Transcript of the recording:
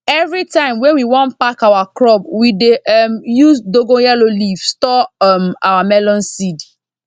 everytime wey we wan pack our crop we dey um use dongoyaro leaf store um our melon seed